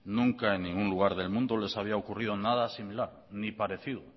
nunca en ningún lugar del mundo les había ocurrido nada similar ni parecido